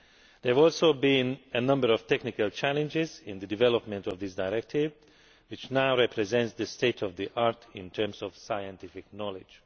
There have also been a number of technical challenges in the development of this directive, which now represents the state of the art' in terms of scientific knowledge.